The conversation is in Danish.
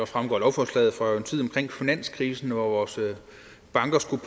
fremgår af lovforslaget fra en tid omkring finanskrisen hvor vores banker skulle